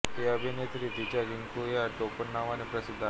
ही अभिनेत्री तिच्या रिंकू ह्या टोपण नावाने प्रसिद्ध आहे